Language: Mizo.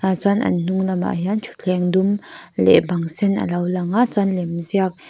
chuan an hnung lamah hian thutthleng dum leh bang sen a lo lang a chuan lemziak--